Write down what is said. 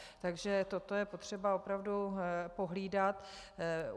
Takže toto je potřeba opravdu pohlídat.